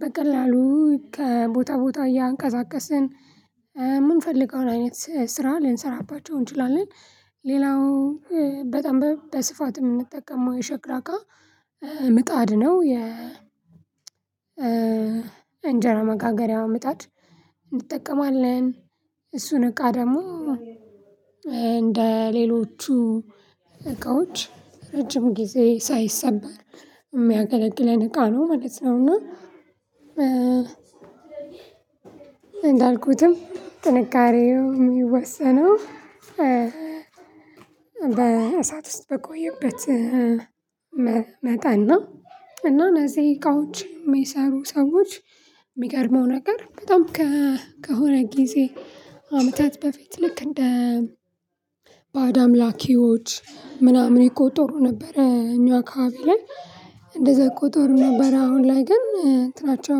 በቀላሉ ከቦታ ቦታ እያንቀሳቀስን፣ ምንፈልገውን አይነት ስራ ልንሰራባቸው እንችላለን። ሌላው በጣም በስፋት የምንጠቀመው የሸክላ እቃ ምጣድ ነው። የ እንጀራ መጋገሪያ ምጣድ እንጠቀማለን። እሱን እቃ ደግሞ እንደ ሌሎቹ እቃዎች ረጅም ጊዜ ሳይሰበር የሚያገለግለን እቃ ነው ማለት ነው። እና እንዳልኩትም ጥንካሬው የሚወሰነው በእሳት ውስጥ በቆየበት መጠ ነው። እና እነዚህ እቃዎች የሚሰሩ ሰዎች ሚገርመው ነገር በጣም ከሆነ ጊዜ አመታት በፊት ልክ እንደ ላኪዎች ምናምን ይቆጠሩ ነበረ እኛ አካባቢ ላይ እንደዛ ይቆጠሩ ነበረ። አሁን ላይ ግን እንትናቸው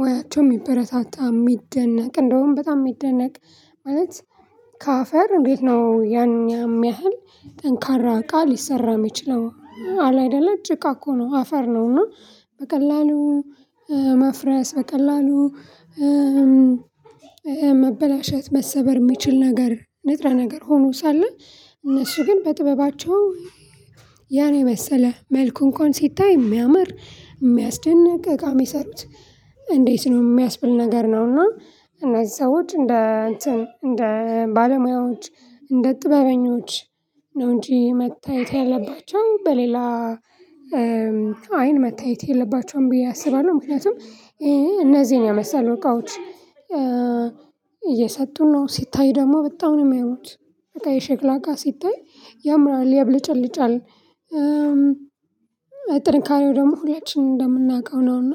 ሙያቸው የሚበረታታ የሚደነቅ እንደውም በጣም የሚደነቅ ማለት ከአፈር እንዴት ነው ያኛ የሚያህል ጠንካራ አቃ ሊሰራ የሚችለው። አለ አይደለ ጭቃ እኮ ነው አፈር ነው እና በቀላሉ መፍረስ በቀላሉ መበላሸት መሰበር የሚችል ነገር ንጥረ ነገር ሆኖ ሳለ፤ እነሱ ግን በጥበባቸው ያን የመሰለ መልኩ እንኳን ሲታይ የሚያምር የሚያስደንቅ እቃ የሚሰሩት እንዴት ነው? የሚያስብል ነገር ነው። እና እነዚህ ሰዎች እንደ እንትን እንደ ባለሙያዎች፣ እንደ ጥበበኞች ነው እንጂ መታየት ያለባቸው በሌላ አይን መታየት የለባቸውም ብዬ አስባለሁ። ምክንያቱም እነዚህን የመሰሉ እቃዎች እየሰጡን ነው። ሲታይ ደግሞ በጣም ነው የሚያምሩት። በቃ የሸክላ እቃ ሲታይ ያምራል ያብለጨልጫል። ጥንካሬው ደግሞ ሁላችንም እንደምናውቀው ነው። እና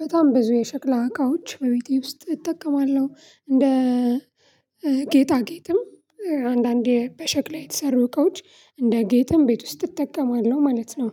በጣም ብዙ የሸክላ እቃዎች በቤቴ ውስጥ እጠቀማለሁ። እንደ ጌጣ ጌጥም አንዳንዴ በሸክላ የተሰሩ እቃዎች እንደ ጌጥም ቤት ውስጥ እጠቀማለሁ ማለት ነው።